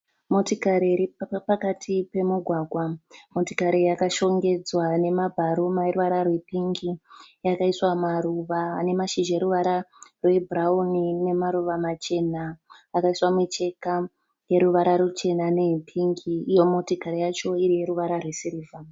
Motikari iri pakati pemugwagwa. Motikari yakashongedzwa nemabharuma eruvara rwepingi Yakaiswa maruva ane mashizha eruvara rwebhurauni nemaruva machena. Yakaiswa mucheka yeruvara ruchena neyepingi. Iyo motikari yacho iri yeruvara rwesirivha